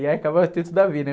E aí acabava a ter tudo a ver, né?